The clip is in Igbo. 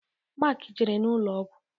Mark jere n'ụlọ ọgwụ.